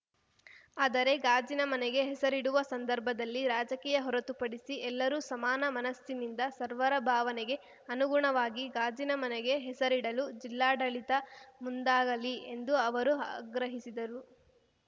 ಆದರೆ ಗಾಜಿನ ಮನೆಗೆ ಹೆಸರಿಡುವ ಸಂದರ್ಭದಲ್ಲಿ ರಾಜಕೀಯ ಹೊರತುಪಡಿಸಿ ಎಲ್ಲರೂ ಸಮಾನ ಮನಸ್ಸಿನಿಂದ ಸರ್ವರ ಭಾವನೆಗೆ ಅನುಗುಣವಾಗಿ ಗಾಜಿನ ಮನೆಗೆ ಹೆಸರಿಡಲು ಜಿಲ್ಲಾಡಳಿತ ಮುಂದಾಗಲಿ ಎಂದು ಅವರು ಆಗ್ರಹಿಸಿದರು